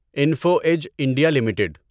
info Edge India limited